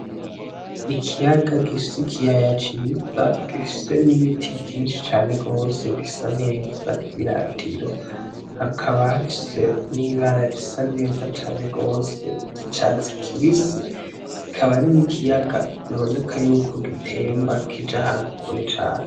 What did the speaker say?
Ikiyaga gifise ikiyaya ciza gifise n'ibiti vyinshi cane gose bisa neza n'ivyiratiro hakaba hafise n'ibara risa neza cane gose ry'icatsi kibisi akaba ari n'ikiyaga biboneka yuko gitemba kija ahantu kure cane.